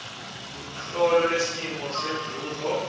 lemholo wesimo senzuzo